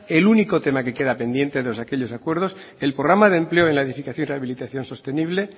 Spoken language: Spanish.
el único tema que queda pendiente de aquellos acuerdos el programa de empleo en la edificación y rehabilitación sostenible